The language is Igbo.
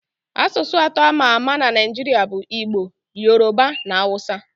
Asụsụ atọ a ma ama na Naịjiria bụ Igbo, Yoroba, na Awụsa